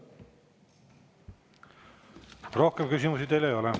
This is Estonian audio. Rohkem küsimusi teile ei ole.